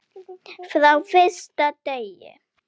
Frá fyrsta degi.